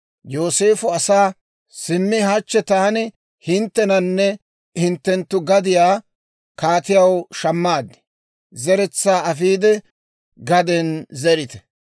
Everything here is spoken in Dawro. Yooseefo asaa, «Simmi hachche taani hinttenanne hinttenttu gadiyaa kaatiyaw shammaad. Zeretsaa afiide, gaden zerite.